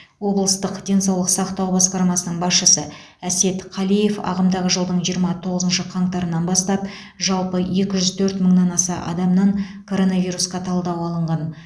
облыстық денсаулық сақтау басқармасының басшысы әсет қалиев ағымдағы жылдың жиырма тоғызыншы қаңтарынан бастап жалпы екі жүз төрт мыңнан аса адамнан коронавирусқа талдау алынған